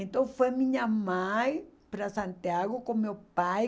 Então foi minha mãe para Santiago com meu pai.